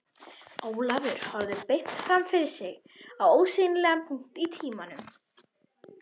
Ólafur horfði beint fram fyrir sig á ósýnilegan punkt í tímanum